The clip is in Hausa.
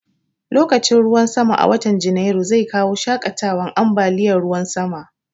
Lokacin ruwan sama a watan Janairu zai kawo shaƙatawan ambaliyan ruwan sama